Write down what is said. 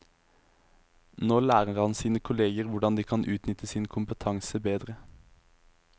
Nå lærer han sine kolleger hvordan de kan utnytte sin kompetanse bedre.